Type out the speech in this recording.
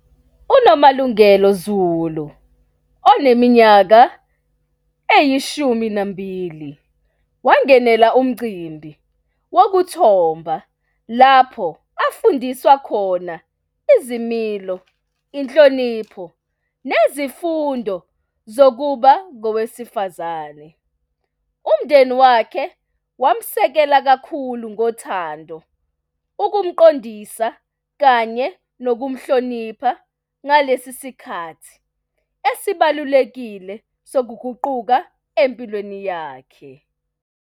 UNomalungelo Zulu, oneminyaka eyishumi nambili, wangenela umcimbi wokuthomba lapho afundiswa khona izimilo, inhlonipho nezifundo zokuba ngowesifazane. Umndeni wakhe wamsekela kakhulu ngothando, ukumqondisa kanye nokumhlonipha ngalesi sikhathi esibalulekile sokuguquka empilweni yakhe.